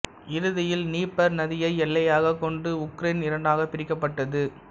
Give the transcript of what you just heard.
இறுதியில் நீப்பர் நதியை எல்லையாகக் கொண்டு உக்ரேன் இரண்டாகப் பிரிக்கப்பட்டது